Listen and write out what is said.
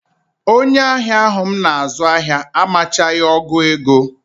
Onye ahịa ahụ m na-azụ ahịa amachaghị ọgụ ego